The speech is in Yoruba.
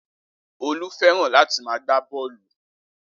Olú fẹ́ràn láti máa gbá bọ́ọ̀lù